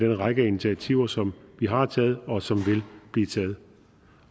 række af initiativer som vi har taget og som vil blive taget